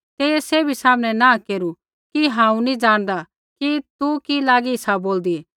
तेइयै सैभी सामनै नाँह केरू कि हांऊँ नी ज़ाणदा कि तू कि लागी सा बोलदी